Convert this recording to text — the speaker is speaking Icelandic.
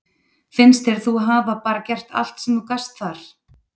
Finnst þér þú hafa bara gert allt sem þú gast þar?